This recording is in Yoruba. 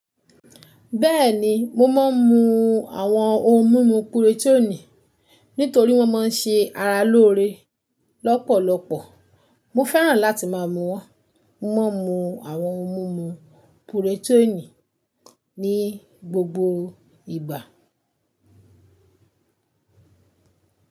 Bẹ́ẹ̀ni, mo máa ń mu àwọn ohun mímu puroteenì nítorí wọ́n máa ń ṣe ara lóore lọ́pọ̀lọpọ̀. Mo fẹ́ràn láti máa mu wọ́n. Mo mo n mú àwọn ohun mímu purotẹ́ẹ̀nì ní gbogbo ìgbà.